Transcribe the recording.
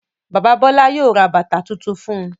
Bàbá Bọ́lá yóò ra bàtá tuntun fún un.